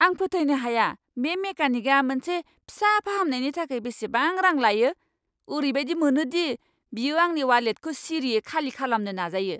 आं फोथायनो हाया बे मेकानिकआ मोनसे फिसा फाहामनायनि थाखाय बेसेबां रां लायो! ओरैबायदि मोनो दि बियो आंनि वालेटखौ सिरियै खालि खालामनो नाजायो!